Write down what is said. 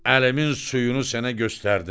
Əlimin suyunu sənə göstərdim.